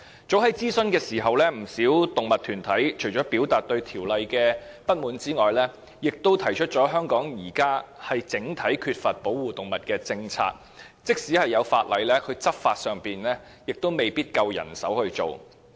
早在諮詢期間，不少動物團體除了表達對法例的不滿外，亦指出香港現時欠缺保護動物的整體政策，而即使已有法例，亦未必有足夠的人手執法。